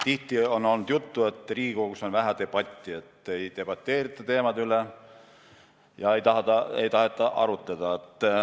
Tihti on olnud juttu, et Riigikogus on vähe debatti, et ei debateerita teemade üle, ei taheta arutada.